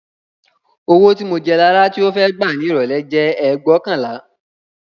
Owó tí mo jẹ Lará tí ó fẹ́ gbà ní ìrọ̀lẹ́ jẹ́ ẹgbóokànlá